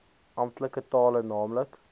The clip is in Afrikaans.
amptelike tale naamlik